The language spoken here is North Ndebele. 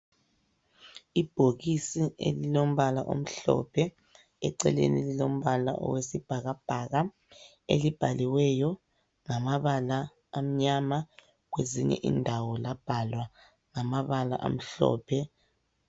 Ibhokisi elilombala omhlophe eceleni lilombala owesibhakabhaka elibhaliweyo ngamabala amnyama kwezinye indawo labhalwa ngamabala amhlophe.